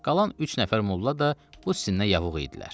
Qalan üç nəfər molla da bu sizə yavuğ idilər.